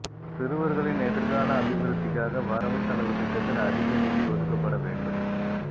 சிறுவர்களின் எதிர்கால அபிவிருத்திக்காக வரவு செலவுத்திட்டத்தில் அதிக நிதி ஒதுக்கப்பட வேண்டும்